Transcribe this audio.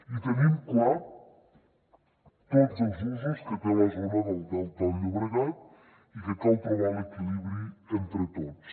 i tenim clar tots els usos que té la zona del delta del llobregat i que cal trobar l’equilibri entre tots